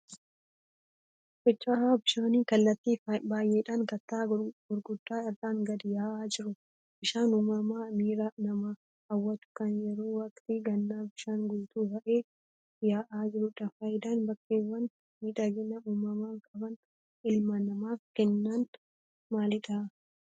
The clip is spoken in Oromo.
Fincaa'aa bishaanii kallattii baay'eedhaan kattaa gurguddaa irraan gadi yaa'aa jiru. Bishaan uumamaa miira namaa hawwatu kan yeroo waqtii gannaa bishaan guutuu ta'een yaa'aa jirudha. Faayidaan bakkeewwan miidhagina uumamaa qaban ilma namaaf kennan maalii?